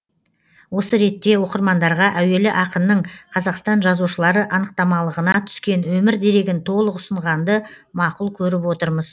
осы ретте оқырмандарға әуелі ақынның қазақстан жазушылары анықтамалығына түскен өмір дерегін толық ұсынғанды мақұл көріп отырмыз